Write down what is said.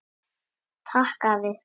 Takk, afi.